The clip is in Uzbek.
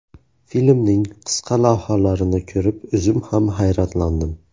Filmning qisqa lavhalarini ko‘rib, o‘zim ham hayratlandim.